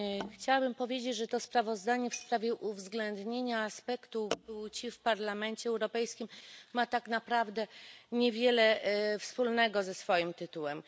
Chciałabym powiedzieć, że to sprawozdanie w sprawie uwzględnienia aspektu płci w Parlamencie Europejskim ma tak naprawdę niewiele wspólnego ze swoim tytułem.